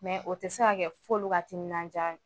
Mɛ o tɛ se ka kɛ f'olu ka timinandiya